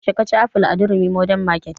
Yaushe ka ci aful a durumi modern market?